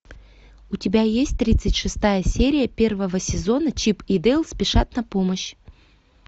у тебя есть тридцать шестая серия первого сезона чип и дейл спешат на помощь